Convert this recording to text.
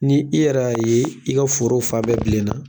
Ni i yɛrɛy'a ye i ka foro fa bɛɛ bilenna